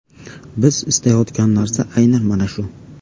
Biz istayotgan narsa aynan mana shu.